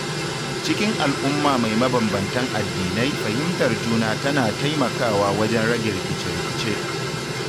Cikin al'umma mai mabambamtan addinai fahimtar juna tana taimakawa wajen rage rikice-rikice.